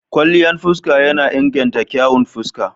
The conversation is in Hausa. Kwalliyan fuska na inganta kyawun fuska.